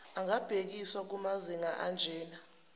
angabhekisa kumazinga anjena